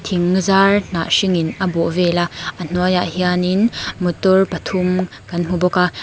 thing zar hnah hringin a bawh vel a a hnuaiah hianin motor pathum kan hmu bawk a.